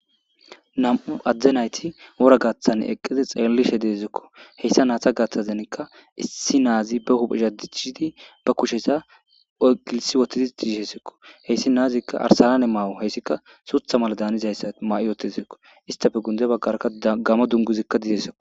nam7u adzde nayti wora gaaththane eqqeze xeellishe deezikko heyssa naata gaaththazenkka issi naazi be huphishadichidi ba kushesa agilsi wotidi diishesikko heyssi naazikka arsalane maawo heyssikka suutha mala daanizayssa maa7 yootezekko istafe gunde baggarka gama dunguzikka dizesako